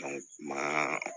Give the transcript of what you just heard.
maa